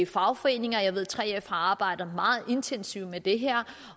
fagforeninger jeg ved at 3f har arbejdet meget intensivt med det her